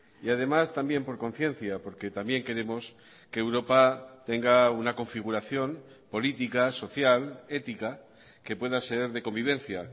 y además también por conciencia porque también queremos que europa tenga una configuración política social ética que pueda ser de convivencia